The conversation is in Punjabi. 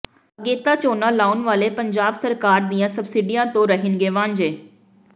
ਅਗੇਤਾ ਝੋਨਾ ਲਾਉਣ ਵਾਲੇ ਪੰਜਾਬ ਸਰਕਾਰ ਦੀਆਂ ਸਬਸਿਡੀਆਂ ਤੋਂ ਰਹਿਣਗੇ ਵਾਂਝੇ